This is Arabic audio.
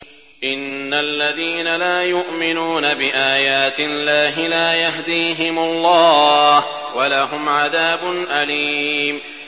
إِنَّ الَّذِينَ لَا يُؤْمِنُونَ بِآيَاتِ اللَّهِ لَا يَهْدِيهِمُ اللَّهُ وَلَهُمْ عَذَابٌ أَلِيمٌ